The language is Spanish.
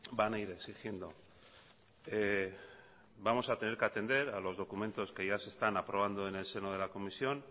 van a ir exigiendo vamos a tener que atender a los documentos que ya se están aprobando en el seno de la comisión